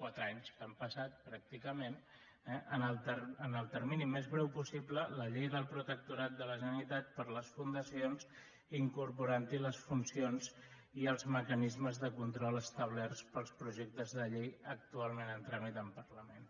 quatre anys que han passat pràcticament la llei del protectorat de la generalitat per a les fundacions incorporant hi les funcions i els mecanismes de control establerts pels projectes de llei actualment en tràmit al parlament